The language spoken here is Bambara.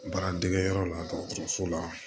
Baara degeyɔrɔ la dɔgɔtɔrɔso la